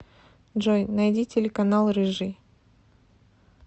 джой найди телеканал рыжий